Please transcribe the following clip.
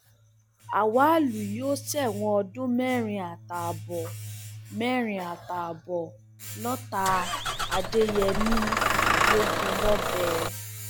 awalù yóò ṣẹwọn ọdún mẹrin àtààbọ mẹrin àtààbọ lọtà adéyèmí ló gùn lọbẹ